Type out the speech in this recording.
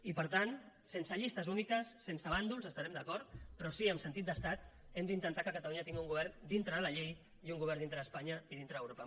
i per tant sense llistes úniques sense bàndols hi estarem d’acord però sí amb sentit d’estat hem d’intentar que catalunya tingui un govern dintre de la llei i un govern dintre d’espanya i dintre d’europa